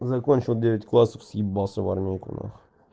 закончил девять классов съебался в армейку нахуй